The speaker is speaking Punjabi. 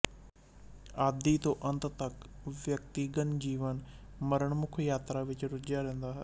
ਆਦਿ ਤੋਂ ਅੰਤ ਤੱਕ ਵਿਅਕਤੀਗਤ ਜੀਵਨ ਮਰਣਮੁਖ ਯਾਤਰਾ ਵਿੱਚ ਰੁੱਝਾ ਰਹਿੰਦਾ ਹੈ